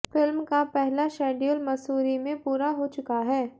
film का पहला schedule Mussoorie में पूरा हो चुका है